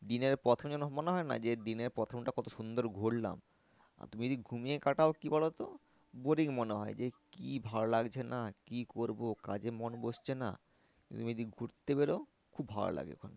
দিনের প্রথমে যেন মনে হয় না যে দিনের প্রথমটা কত সুন্দর ঘুরলাম আর তুমি যদি ঘুমিয়ে কাটাও কি বলতো boring মনে হয় যে কি ভালো লাগছে না কি করবো কাজে মন বসছে না তুমি যদি ঘুরতে বেরোও খুব ভালো লাগেক্ষন